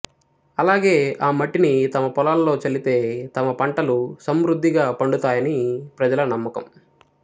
అలాగే ఆ మట్టిని తమ పొలాల్లో చల్లితే తమ పంటలు సంమృద్ధిగా పండుతాయని ప్రజల నమ్మకం